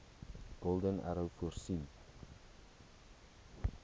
golden arrow voorsien